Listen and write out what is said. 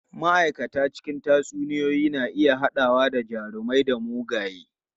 Ma'aikata cikin tatsuniyoyi na iya haɗawa da jarumai da mugaye.